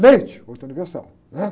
Leite, outro universal, né?